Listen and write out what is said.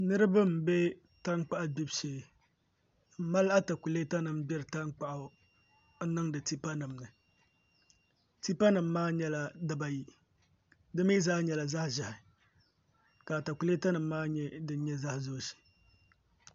Niraba n bɛ tankpaɣu gbibu shee n mali atakulɛta nim gbiri tankpaɣu n niŋdi tipa nimni tipa nim maa nyɛla dibayi di mii zaa nyɛla zaɣ ʒiɛhi ka atakulɛta nim maa nyɛ din nyɛ zaɣ dozim